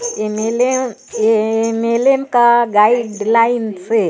M. L. M. M. L. M. Guideline लाइन से--